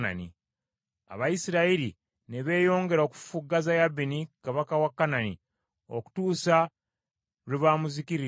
Abayisirayiri ne beeyongera okufufuggaza Yabini kabaka wa Kanani okutuusa lwe bamuzikiririzza ddala.